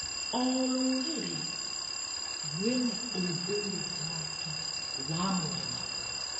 O rũrĩrĩ rwĩna ũndũire wake wa mwanya.